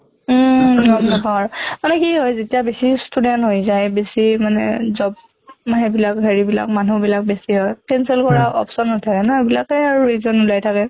উম গম নাপাওঁ আৰু। মানে কি হয় যেতিয়া বেছি student হৈ যায় বেছি মানে job হেইবিলাক হেৰি বিলাক মানুহ বিলাক বেছি হয় cancel কৰা option নাথাকে ন, এইবিলাকে আৰু reason ওলাই থাকে।